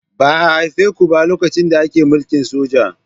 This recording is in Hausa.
Ba a haife ku ba lokacin da ake mulkin soja.